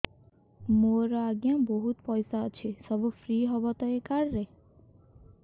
ମୋର ଆଜ୍ଞା ବହୁତ ପଇସା ଅଛି ସବୁ ଫ୍ରି ହବ ତ ଏ କାର୍ଡ ରେ